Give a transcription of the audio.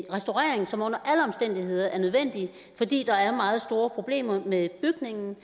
en restaurering som under alle omstændigheder er nødvendig fordi der er meget store problemer med bygningen